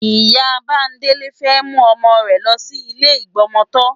Ìyá Bándélé fẹ́ mú ọmọ rẹ̀ lọ sí ilé ìgbọmọtọ́.